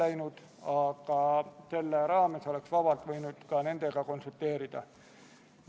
Eelnõu esitas Vabariigi Valitsus k.a 10. septembril.